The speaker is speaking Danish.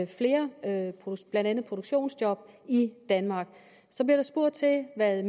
flere blandt andet produktionsjob i danmark så bliver der spurgt til hvad